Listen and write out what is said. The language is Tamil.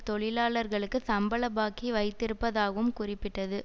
தொழிலாளர்களுக்கு சம்பள பாக்கி வைத்திருப்பதாகவும் குறிப்பிட்டது